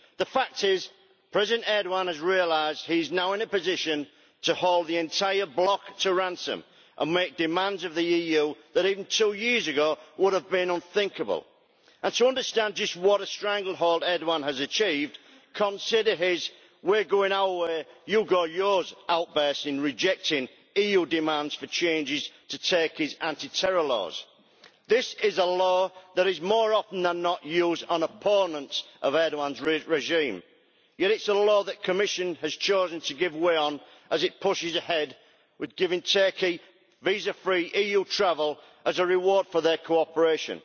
The fact is, President Erdoğan has realised he is now in a position to hold the entire block to ransom and make demands of the EU that even two years ago would have been unthinkable. And to understand just what a stranglehold Erdoğan has achieved, consider his we're going our way, you go yours' outburst in rejecting EU demands for changes to Turkey's anti terror laws. This is a law that is more often than not used on opponents of Erdoğan's regime, yet it is a law that the Commission has chosen to give way on as it pushes ahead with giving Turkey visa free EU travel as a reward for their cooperation.